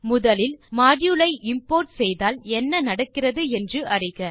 முதலில் மாடியூல் ஐ இம்போர்ட் செய்தால் என்ன நடக்கிறது என்று அறிக